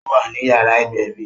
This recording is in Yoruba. Ó wà ní yàrá ìgbẹ̀bí